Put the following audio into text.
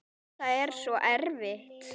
Þetta er svo erfitt.